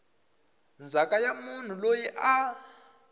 ndzhaka ya munhu loyi a